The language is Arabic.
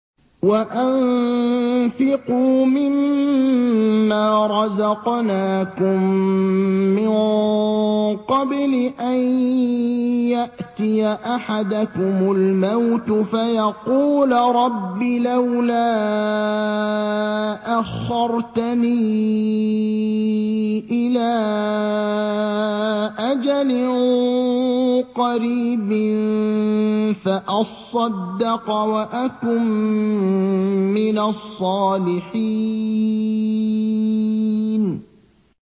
وَأَنفِقُوا مِن مَّا رَزَقْنَاكُم مِّن قَبْلِ أَن يَأْتِيَ أَحَدَكُمُ الْمَوْتُ فَيَقُولَ رَبِّ لَوْلَا أَخَّرْتَنِي إِلَىٰ أَجَلٍ قَرِيبٍ فَأَصَّدَّقَ وَأَكُن مِّنَ الصَّالِحِينَ